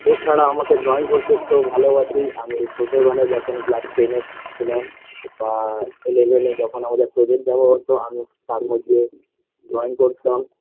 এছাড়া আমাকে drawing করতে খুব ভালোবাসি আমি ছোটো বেলায় যখন class ten -এ ছিলাম আ eleven -এ যখন আমাদের project জমা হতো আমি তারমধ্যে drawing করতাম